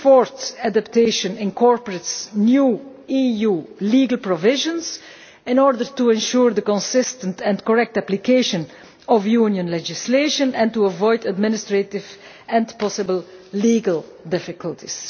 This fourth adaptation incorporates new EU legal provisions in order to ensure the consistent and correct application of Union legislation and to avoid administrative and possible legal difficulties.